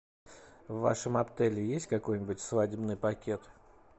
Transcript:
в вашем отеле есть какой нибудь свадебный пакет